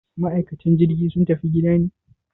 Ma'aikatan jirgi sun tafi gida ne?